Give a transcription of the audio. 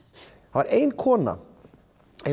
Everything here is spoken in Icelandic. það var ein kona í